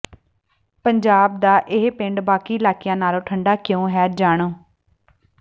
ਪੰਜਾਬ ਦਾ ਇਹ ਪਿੰਡ ਬਾਕੀ ਇਲਾਕਿਆਂ ਨਾਲੋਂ ਠੰਡਾ ਕਿਉਂ ਹੈ ਜਾਣੋ